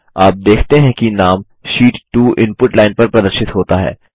आप देखते हैं कि नाम शीट 2 इनपुट लाइन पर प्रदर्शित होता है